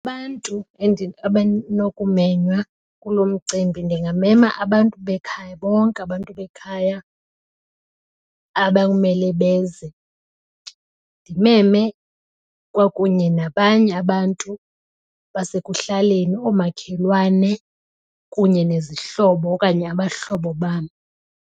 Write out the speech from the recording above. Abantu abanokumenywa kulo mcimbi ndingamema abantu bekhaya bonke abantu bekhaya aba kumele beze. Ndimeme kwakunye nabanye abantu basekuhlaleni, oomakhelwane kunye nezihlobo okanye abahlobo bam.